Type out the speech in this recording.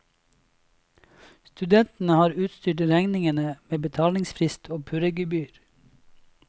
Studentene har utstyrt regningene med betalingsfrist og purregebyr.